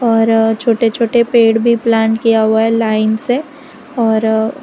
और छोटे छोटे पेड़ भी प्लांट किया हुआ है लाइन से और --